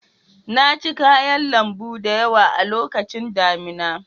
Na ci kayan lambu da yawa a lokacin damina.